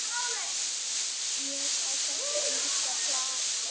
Ég á hvert einasta plakat.